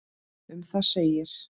Um það segir